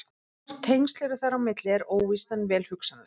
Hvort tengsl eru þar á milli er óvíst en vel hugsanlegt.